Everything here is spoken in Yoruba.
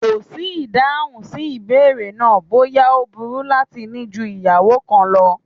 Kò sí ìdáhùn sí ìbéèrè náà bóyá ó burú láti ní ju ìyàwó kan lọ